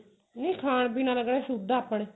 ਨਹੀਂ ਖਾਣ ਪੀਣ ਆਲਾ ਕਿਹੜਾ ਸ਼ੁਧ ਐ ਆਪਣੇ